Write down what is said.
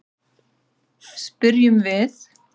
spyrjum við.